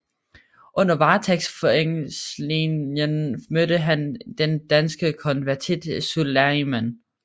Under varetægtsfængslingen mødte han den danske konvertit Sulaiman